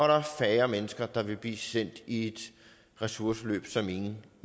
der er færre mennesker der vil blive sendt i et ressourceforløb som ingen